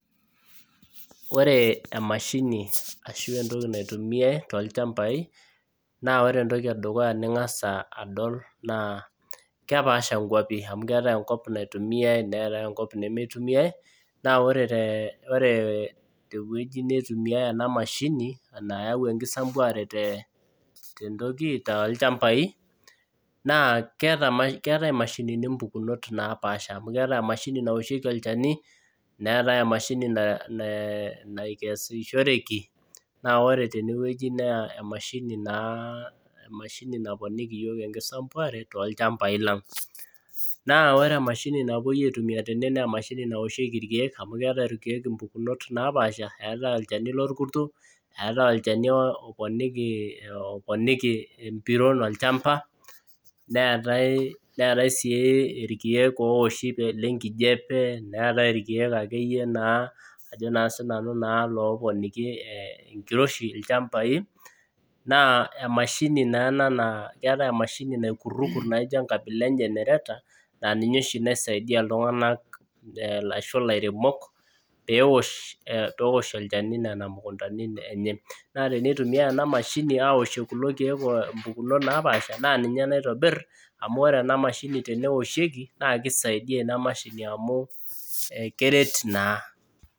Ore emashini ashua entoki naitumiya tolchambai naa ore entoki edukuya ning'as adol naaa ore eentoki naitumiya neetai enkop nemeitumiyaai naa ore tenewueji naitumiyai ena mashini naayau enkisambuare tolchambai naa keetai imashinini impukunonot napaasha amu keetai emashini naoshiki olchani neetai emsahini naikesushoreki naaa ore tenewueji naa emashini naponiki iyiok enkisampuare tolchambai lang naa ore emashini napuoi aitumia tene naa emashini naoshiki irkiek amu keetai emashini naoshieki toompukunot naapasha neetai olchani lorkuto eetai olchani oponiki empiron olchamba neetai siij irkiek ooowoshi lenkijiape neetai ilooponiki enkiroshi ilchambai naa emashini naa ena naa naaijio enkabila enye engenereta naaninye oshi naidia iltung'anak peeowosho olchani naa teneitumiyai ena mashini aaaoshie kulo. kiek impukunot naapasha naa ninye naitobir amu ore ena mashini teneoshieki naaa keisaidia ina mashini amu keret naaa